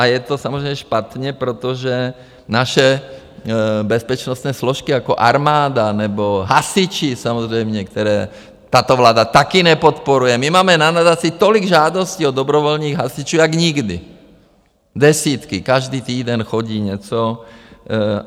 A je to samozřejmě špatně, protože naše bezpečnostní složky jako armáda nebo hasiči samozřejmě, které tato vláda taky nepodporuje - my máme na nadaci tolik žádostí od dobrovolných hasičů, jak nikdy, desítky, každý týden chodí něco.